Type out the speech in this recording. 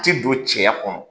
Ti don cɛya kɔnɔ